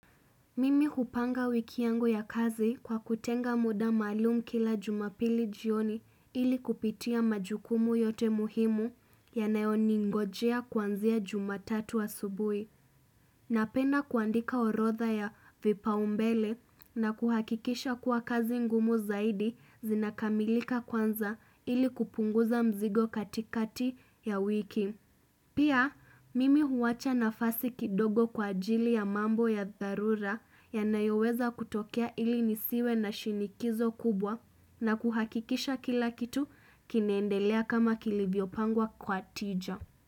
Mimi kuhupanga wiki yangu ya kazi kwa kutenga muda maalum kila jumapili jioni ili kupitia majukumu yote muhimu yanayoningojea kwanzia jumatatu asubuhi. Napenda kuandika orodha ya vipaumbele na kuhakikisha kuwa kazi ngumu zaidi zinakamilika kwanza ili kupunguza mzigo katikati ya wiki. Pia mimi huwacha nafasi kidogo kwa ajili ya mambo ya dharura yanayoweza kutokea ili nisiwe na shinikizo kubwa na kuhakikisha kila kitu kinaendelea kama kilivyopangwa kwa tija.